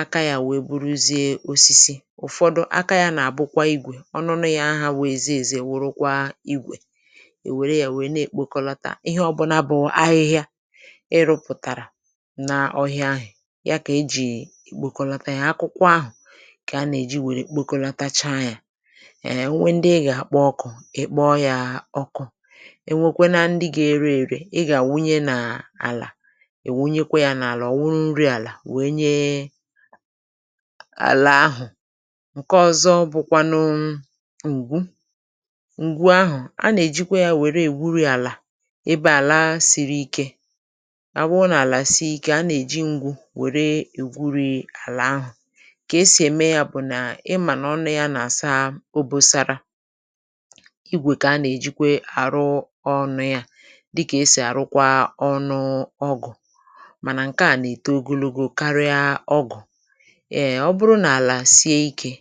aka yȧ wèe bụrụzie osisi. Ụ̀fọdụ, aka yȧ nà-àbụkwa igwè, ọnụnụ̇ yaa ha bụ eze ezė wụrụkwa igwè, è wère yȧ wèe na-èkpokọlata ihe ọbụlà bụ ahịhịa ị rụ̇pụ̀tàrà na ọhịa ahị̀, ya kà ejì èkpokọlata yȧ. Akụkwọ ahụ̀ kà a nà-èji wère kpokọlatacha yȧ. Um onwe ndị ị gà-àkpọ ọkụ̇, ị kpọ yaa ọkụ̇. E nwekwe na ndị gȧ-ere èrè ị gà-àwụnye na àlà, ị wụnyekwa yȧ n’àlà, ọ̀ wụrụ nri àlà wèe nye àlà ahụ̀. Ǹke ọ̇zọ bụ̇kwanụ ǹgwu; ǹgwu ahụ̀, a nà-èjikwa ya wère èwuri àlà, ebe àla siri ikė. Ọ bụrụ n’ala si ike, nà-èji ngwu̇ were egwuri àlà ahụ̀. Kà esì ème ya bụ̀ nà, ị mà nà ọnụ ya nà-àsa obosara, ịgwè kà a nà-èjikwe àrụ ọnu ya, dịkà esì àrụkwa ọnụ ọgụ̀, mànà ǹkè a nà-èto ogologo karịa ọgụ̀; um, ọ bụrụ n’àlà sie ikė,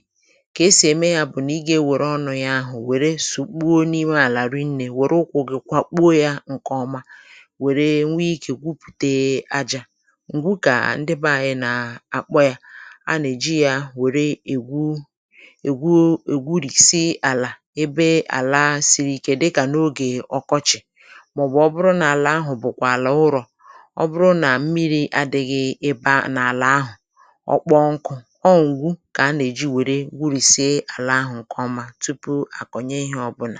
kà-esì ème ya bụ̀ nà ịgȧ ewère ọnụ ya àhụ wèrè sukpoo n’ime ala rinne, were ụkwụ̇ gị kwakpuo ya ǹkèọma, wère nwe ikė gwupùtee ajȧ. Ǹgwụ kà ndị beanyị nà àkpọ ya, a nà-èji ya wère ègwu ègwu ègwurìsi àlà ebe àla siri ike dịkà n’ogè ọkọchị mà ọ bụ̀ ọ bụrụ nà àlà ahụ̀ bụ̀kwà àlà ụrọ̀. Ọ bụrụ nà mmiri̇ adị̇ghị̇ ebe ahụ̀ n’àlà ahụ̀, ọ kpọọ nkụ̇, ọ ngwù kà a nà-èji wère wurìsie àlà ahụ̀ ǹkèọma tupu akọnye ihė ọ̀bụnà.